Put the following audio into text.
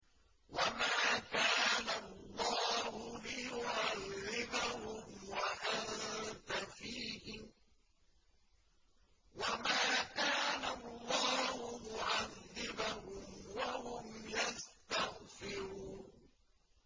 وَمَا كَانَ اللَّهُ لِيُعَذِّبَهُمْ وَأَنتَ فِيهِمْ ۚ وَمَا كَانَ اللَّهُ مُعَذِّبَهُمْ وَهُمْ يَسْتَغْفِرُونَ